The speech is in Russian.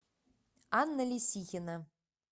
анна лисихина